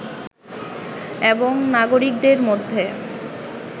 এবং নাগরিকদের মধ্যে